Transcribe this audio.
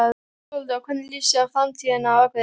Þórhildur: Og hvernig líst þér á framtíðina á Akureyri?